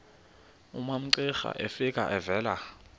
umamcira efika evela